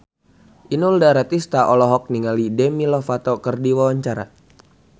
Inul Daratista olohok ningali Demi Lovato keur diwawancara